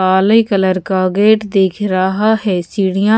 काले कलर का गेट दिख रहा है सीढियाँ--